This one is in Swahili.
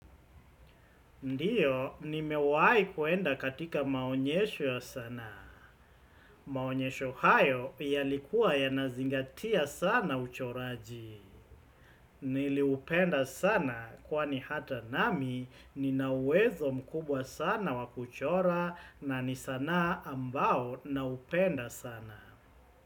Ndiyo, ni mewahi kuenda katika maonyesho ya sanaa. Maonyesho hayo yalikuwa ya nazingatia sana uchoraji. Niliupenda sana kwa ni hata nami ni nawezo mkubwa sana wakuchora na ni sanaa ambao na upenda sana.